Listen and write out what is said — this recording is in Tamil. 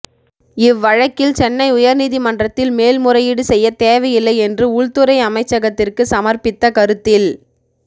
இவ் வழக்கில் சென்னை உயர் நீதிமன்றத்தில் மேல் முறையீடு செய்யத் தேவையில்லை என்று உள்துறை அமைச்சகத்திற்கு சமர்ப்பித்த கருத்தில்